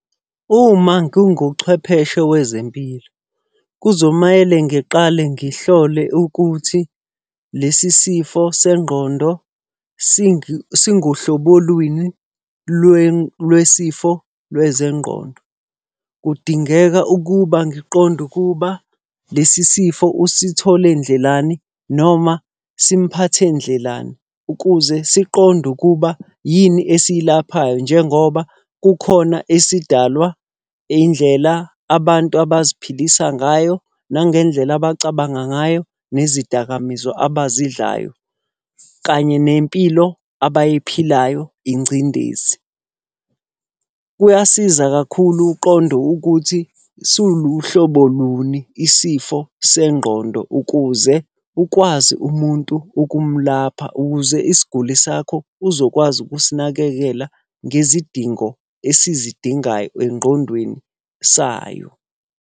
Uma nginguchwepheshe wezempilo, kuzomele ngiqale ngihlole ukuthi lesi sifo sengqondo singuhlobo lwini lwesifo lwezengqondo. Kudingeka ukuba ngiqonde ukuba lesi sifo usithole ndlelani noma simuphathe ndlelani. Ukuze siqonde ukuba yini esiyilapha njengoba kukhona esidalwa indlela abantu abaziphilisa ngayo, nangendlela abacabanga ngayo, nezidakamizwa abazidlayo, kanye nempilo abayiphilayo ingcindezi. Kuyasiza kakhulu uqonde ukuthi suluhlobo luni isifo sengqondo ukuze ukwazi umuntu ukumulapha, ukuze isiguli sakho uzokwazi ukusinakekela ngezidingo esizidingayo engqondweni sayo.